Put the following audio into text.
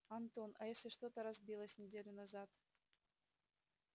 антон а если что-то разбилось неделю назад